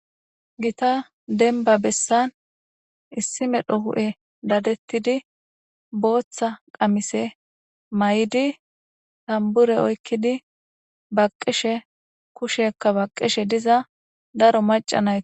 Gita denba bessan issi medho hu7e dadettidi booththa qamise may7idi tambure oykkidi baqishe kushekka baqqishe diza daro macanaye